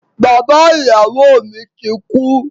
Bàbá ìyàwó mi ti kú.